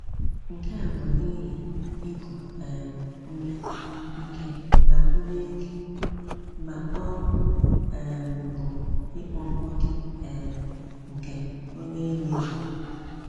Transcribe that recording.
Nke a bụ n’ihi iku um ume ike ma ume ike ma ọ um bụ ịkpọ mkpọtụ um nke onye iwe juru.